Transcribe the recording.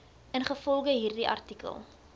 ingevolge hierdie artikel